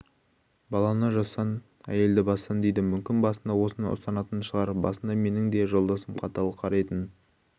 баланы жастан әйелді бастан дейді мүмкін басында осыны ұстанатын шығар басында менің де жолдасым қатал қарайтын